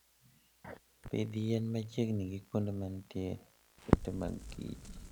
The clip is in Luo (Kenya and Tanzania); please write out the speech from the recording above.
Pidh yien machiegni gi kuonde ma nitie ute mag kich